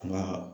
Nka